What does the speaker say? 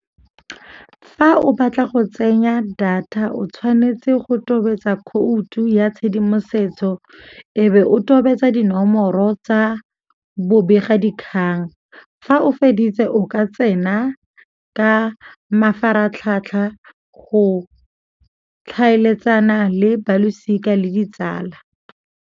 Fa o batla go tsenya data o tshwanetse go tobetsa khoutu ya tshedimosetso e be o tobetsa dinomoro tsa bobega dikgang. Fa o feditse o ka tsena ka mafaratlhatlha go tlhaeletsana le balosika le ditsala.